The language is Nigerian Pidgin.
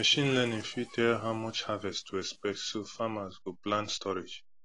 machine learning fit tell how much harvest to expect so farmers go plan storage